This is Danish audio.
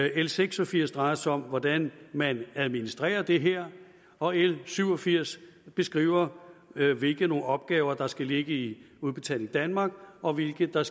l seks og firs drejer sig om hvordan man administrerer det her og l syv og firs beskriver hvilke opgaver der skal ligge i udbetaling danmark og hvilke der